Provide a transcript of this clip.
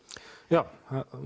já